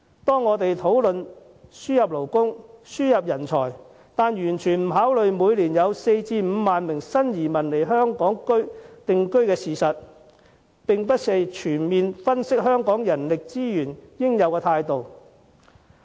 社會在討論輸入勞工和人才時，卻完全未有考慮每年有4萬至5萬名新移民來港定居的事實，這並非全面分析香港人力資源應有的態度。